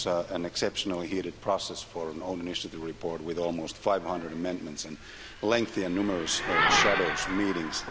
It was an exceptionally heated process for an own-initiative report, with almost 500 amendments and lengthy and numerous shadows meetings.